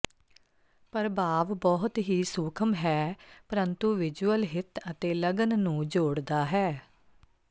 ਪ੍ਰਭਾਵ ਬਹੁਤ ਹੀ ਸੂਖਮ ਹੈ ਪਰੰਤੂ ਵਿਜੁਅਲ ਹਿੱਤ ਅਤੇ ਲਗਨ ਨੂੰ ਜੋੜਦਾ ਹੈ